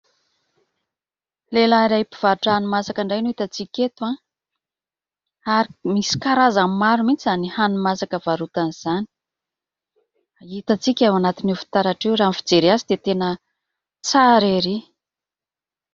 Lehilahy mpivarotra hani-masaka indray no hitantsika eto ary misy karazany maro mihitsy izany hani-masaka varotany izany. Hitantsika ao anatin'io fitaratra io raha ny fijery azy dia tena tsara erỳ.